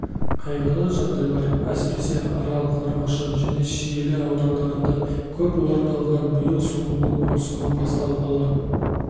қайғылы жағдайлар әсіресе арал қармақшы және шиелі аудандарында көп орын алған биыл шомылу маусымы басталғалы